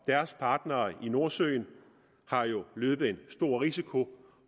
deres partnere i nordsøen har jo løbet en stor risiko